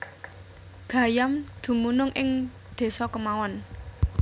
Gayam dumunung ing desa kemawon